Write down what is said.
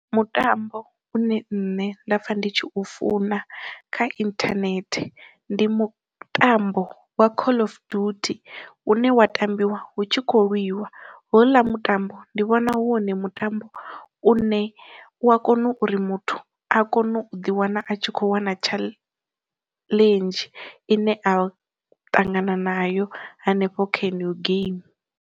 Mutambo une nṋe nda pfha ndi tshi u funa kha inthanethe, ndi mutambo wa call of duty une wa tambiwa hu tshi khou lwiwa houḽa mutambo ndi vhona ndi wone mutambo u ne u a kona uri muthu a kone u ḓi wana a tshi kho wana tshaḽenzhi ine a ṱangana nayo hanefho ka yeneyo geimi.